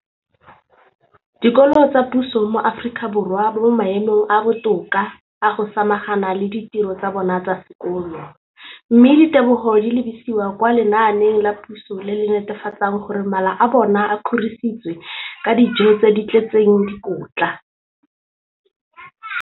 dikolo tsa puso mo Aforika Borwa ba mo maemong a a botoka a go ka samagana le ditiro tsa bona tsa sekolo, mme ditebogo di lebisiwa kwa lenaaneng la puso le le netefatsang gore mala a bona a kgorisitswe ka dijo tse di tletseng dikotla.